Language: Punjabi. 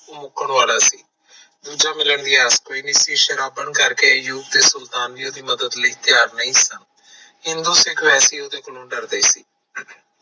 ਉਹ ਮੁਕਣ ਵਾਲਾ ਸੀ ਦੂਜਾ ਮਿਲਣ ਦੀ ਆਸ ਕੋਈ ਨਾ ਸੀ ਸ਼ਰਾਬ ਪੀਣ ਕਰਕੇ ਯੂ ਖਾਨ ਤੇ ਸੁਲਤਾਨ ਵੀ ਉਹਦੀ ਮਦਦ ਲਈ ਤਿਆਰ ਨਹੀਂ ਸੀਗਾ ਹਿੰਦੂ ਸਿੱਖ ਵੈਸੇ ਉਹਦੇ ਕੋਲੋਂ ਡਰਦੇ ਸੀ